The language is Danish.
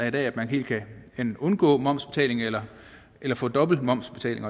i dag helt kan undgå momsbetaling eller eller få dobbelt momsbetaling